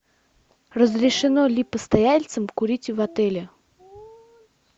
разрешено ли постояльцам курить в отеле